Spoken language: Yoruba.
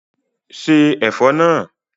Ṣé Ẹ̀fọ́ náà!